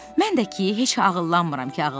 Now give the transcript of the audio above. Mən də ki, heç ağıllanmıram ki, ağıllanmıram.